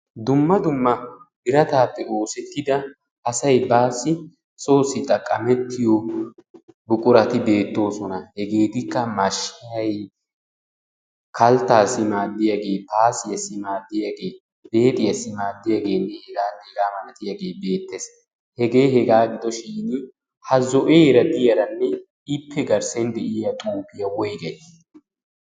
dumma dumma birataappe oosettida asay baasi soossi xaqqamettiyo buqurati beettoosona. hegeettikka mashshay kalttasi maaddiyage beexiyasi maaddiyage hegane hega malatiyage beettees. Hege hega gidoshin ha zo'era diyaranne ippe garssen de'iyaa xuufiyaa woygay?